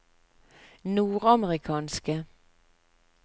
nordamerikanske